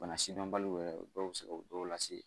Bana sidɔnbaliw yɛrɛ dɔw bɛ se ka dɔw lase